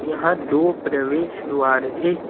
यहां दो प्रवेश द्वार है।